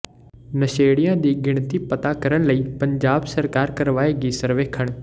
ਨਸ਼ੇੜੀਆਂ ਦੀ ਗਿਣਤੀ ਪਤਾ ਕਰਨ ਲਈ ਪੰਜਾਬ ਸਰਕਾਰ ਕਰਵਾਏਗੀ ਸਰਵੇਖਣ